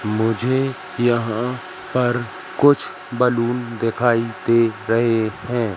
मुझे यहां पर कुछ बलून दिखाई दे रहे हैं।